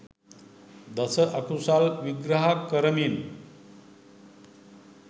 දස අකුසල් විග්‍රහ කරමින්